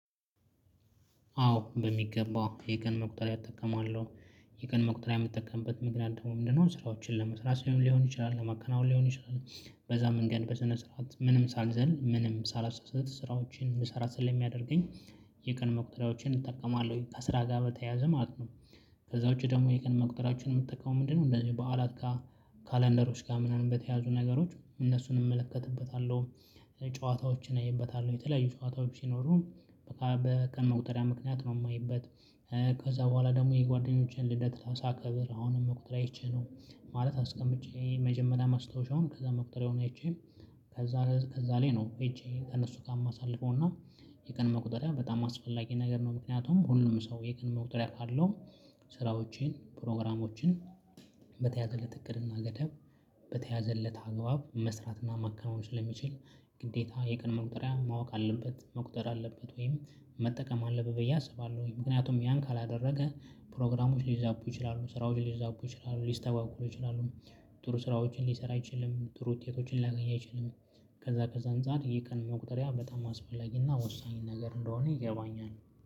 አዎ በሚገባ የቀን መቁጠሪያ እጠቀማለሁ። የቀን መቁጠሪያ የምጠቀምበት ምክንያት ደግሞ ምንድነው? ስራዎችን ለመስራት ሊሆን ይችላል ለማከናወን ሊሆን ይችላል በዛ መንገድ በስነ ስርዓት ምንም ሳልዘል ምንም ሳላሳስት ስራዎችን እንድሰራ ስለሚያደርገኝ። የቀን መቁጠሪያዎችን እጠቀማለሁኝ ከስራ ጋር በተያያዘ ማለት ነው። ከዛ ውጪ ደግሞ የቀን መቁጠሪያዎችን የምጠቀመው ምንድነው? እንደዚህ በዓላት ጋር ካላንደሮች ጋር ምናምን በተያያዙ ነገሮች እነሱን እመለከትበታለሁ። ጨዋታዎችን አይበታለሁ የተለያዩ ጨዋታዎች ሲኖሩ በቃ በቀን መቁጠሪያ ምክንያት ነው የማይበት። ከዛ በኋላ ደግሞ የጓደኞቼን ልደት ሳከብር አሁንም መቁጠሪያ አይቼ ነው። ማለት አስቀምጬ መጀመሪያ ማስታወሻውን ከዛ መቁጠሪያውን አይቼ። ከዛ እዛ ላይ ነው አይቼ ከእነሱ ጋር የማሳልፈው እና። የቀን መቁጠሪያ በጣም አስፈላጊ ነገር ነው ምክንያቱም ሁሉም ሰው የቀን መቁጠሪያ ካለው። ስራዎቼን ፕሮግራሞችን በተያዘለት እቅድ እና ገደብ በተያዘለት አግባብ መስራት እና ማከናወን ስለሚችል። ግዴታ የቀን መቁጠሪያ ማወቅ አለበት መቁጠር አለበት ወይም መጠቀም አለበት ብዬ አስባለሁኝ። ምክንያቱም ያን ካላደረገ ፕሮግራሞች ሊዛቡ ይችላሉ ስራዎች ሊዛቡ ይችላሉ ሊስተጓጎሉ ይችላሉ። ጥሩ ስራዎችን ሊሰራ አይችልም ጥሩ ውጤቶችን ሊያገኝ አይችልም። ከዛ ከዛ አንፃር የቀን መቁጠሪያ በጣም አስፈላጊ እና ወሳኝ ነገር እንደሆነ ይገባኛል።